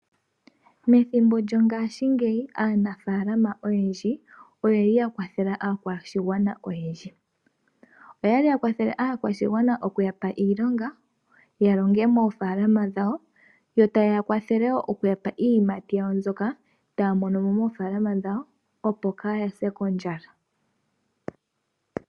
Methimbo lyongaashingeyi aanafalama oyendji oye li ya kwathela aakwashigwana oyendji. Oye li ya kwathele aakwashigwana okuya pa iilonga ya longe moofaalama dhawo yo taye ya kwathele wo okuya pa iiyimati yawo mbyoka taya mono mo moofalama dhawo, opo kaaya se kondjala.